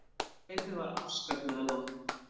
En kaupið var afskaplega lágt.